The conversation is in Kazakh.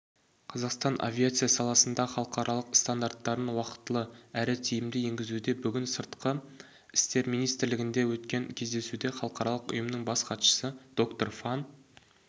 қазақстан авиация саласында халықаралық стандарттарын уақытылы әрі тиімді енгізуде бүгін сыртқы істер министрлігінде өткен кездесуде халықаралық ұйымның бас хатшысы доктор фан